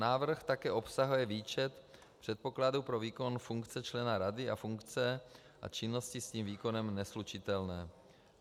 Návrh také obsahuje výčet předpokladů pro výkon funkce člena rady a funkce a činnosti s jejím výkonem neslučitelné.